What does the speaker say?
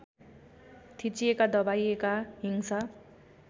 थिचिएका दबाइएका हिंसा